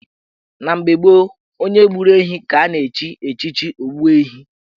Na mgbe gboo, onye gburu ehi ka a na-echi echichi Ogbuehi